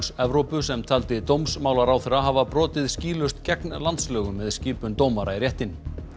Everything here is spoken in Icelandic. Evrópu sem taldi dómsmálaráðherra hafa brotið skýlaust gegn landslögum með skipun dómara í réttinn